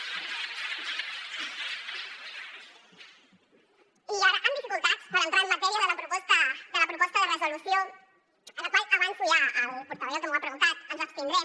i ara amb dificultats per entrar en matèria de la proposta de resolució a la qual avanço ja al portaveu que m’ho ha preguntat que ens abstindrem